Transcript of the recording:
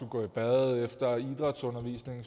gå i bad efter idrætsundervisningen